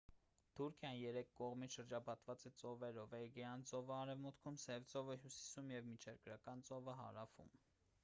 թուրքիան երեք կողմից շրջապատված է ծովերով էգեյան ծովը արևմուտքում սև ծովը հյուսիսում և միջերկրական ծովը հարավում